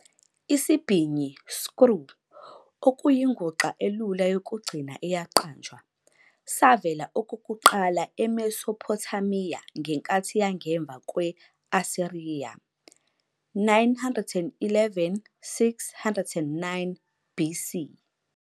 Isibhinyi, screw, okuyinguxa elula yokugcina eyaqanjwa, savela okokuqala eMesopothamiya ngenkathi yangemva kwe-Asiriya, 911-609, BC.